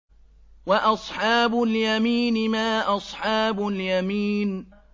وَأَصْحَابُ الْيَمِينِ مَا أَصْحَابُ الْيَمِينِ